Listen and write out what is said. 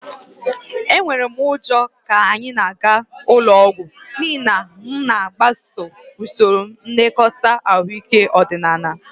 Enwere m ụjọ ka anyị na-aga ụlọ ọgwụ n'ihi na m na-agbaso usoro nlekọta ahụike ọdịnaala